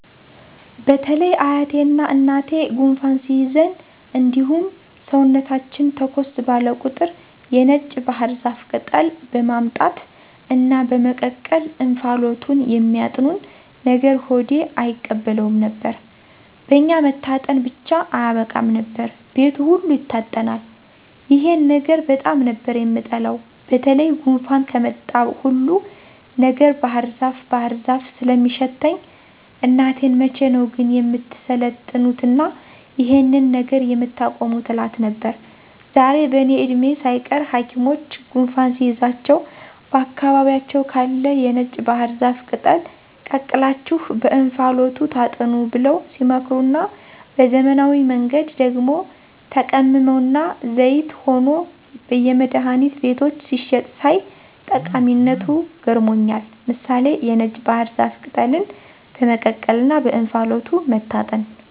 በተለይ አያቴና እናቴ ጉንፋን ሲይዘን እንዲሁም ሰውነታችን ተኮስ ባለ ቁጥር የነጭ ባህር ዛፍ ቅጠል በማምጣት እና በመቀቀል እንፋሎቱን የሚያጥኑን ነገር ሆዴ አይቀበለውም ነበር። በኛ መታጠን ብቻ አያበቃም ነበር፤ ቤቱ ሁሉ ይታጠናል። ይሄን ነገር በጣም ነበር የምጠላው በተለይ ጉንፋን ከመጣ ሁሉ ነገር ባህርዛፍ ባህር ዛፍ ስለሚሸተኝ እናቴን መቼ ነው ግን የምትሰለጥኑትና ይሄንን ነገር የምታቆሙት እላት ነበር። ዛሬ በእኔ እድሜ ሳይቀር ሀኪሞች ጉንፋን ሲይዛችሁ በአካባቢያችሁ ካለ የነጭ ባህር ዛፍ ቅጠል ቀቅላችሁ በእንፋሎቱ ታጠኑ ብለው ሲመክሩና በዘመናዊ መንገድ ደግሞ ተቀምሞና ዘይት ሆኖ በየመድሀኒት ቤቶች ሲሸጥ ሳይ ጠቀሚነቱ ገርሞኛል። ምሳሌ(የነጭ ባህር ዛፍ ቅጠልን በመቀቀልና በእንፋሎቱ መታጠን)